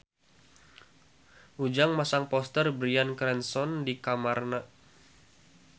Ujang masang poster Bryan Cranston di kamarna